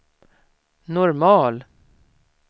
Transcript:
normal